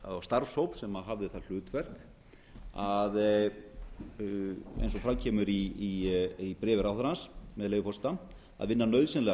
eða starfshóp sem hafði það hlutverk að eins og fram kemur í bréfi ráðherrans með leyfi forseta að vinna nauðsynlegar